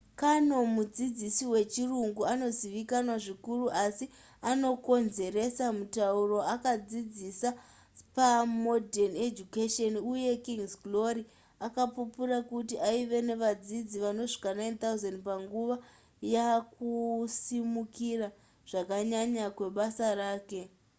karno mudzidzisi wechirungu anozivikanzwa zvikuru asi anokonzeresa mutauro akadzidzisa pamodern education uye king's glory akapupura kuti aive nevadzidzi vanosvika 9,000 panguva yakusimukira zvakanyanya kwebasa rake